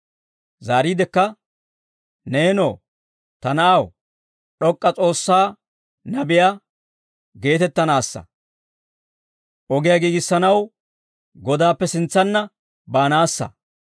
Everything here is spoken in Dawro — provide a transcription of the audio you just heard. Zaariidekka, neenoo, ta na'aw, D'ok'k'a S'oossaa nabiyaa geetettanaassa; ogiyaa giigissanaw Godaappe sintsanna, baanaassa.